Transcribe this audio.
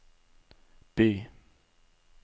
by